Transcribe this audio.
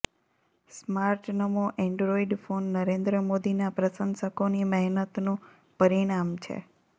સ્માર્ટનમો Android phone Narendra મોદીના પ્રશંસકોની મહેનતનું પરીણામ છે